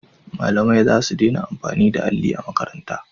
Malamai za su dena amfani da alli a makaranta